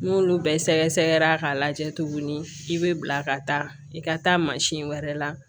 N'olu bɛɛ sɛgɛsɛgɛra k'a lajɛ tuguni i bɛ bila ka taa i ka taa wɛrɛ la